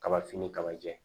Kabafini kaba jɛ